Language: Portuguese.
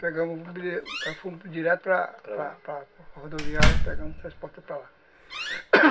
Pegamos, fomos direto para para rodoviária